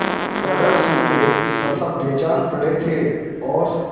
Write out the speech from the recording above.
तरह सूखे तथा बेजान पड़े थे और